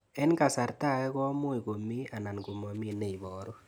Eng' kasarta ag'e ko much ko mii anan komamii ne ibaru